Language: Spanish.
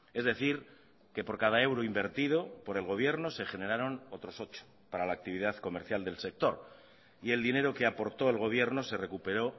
es decir que por cada euro invertido por el gobierno se generaron otros ocho para la actividad comercial del sector y el dinero que aportó el gobierno se recuperó